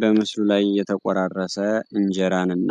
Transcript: በምስሉ ላይ የተቆራረሰ እንጀራን እና